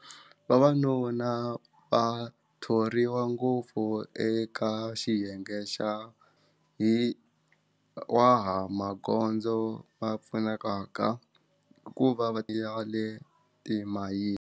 Vavanuna va thoriwa ngopfu eka xiyenge xa hi wa ha magondzo va pfunekaka hikuva va ti ya le timayini.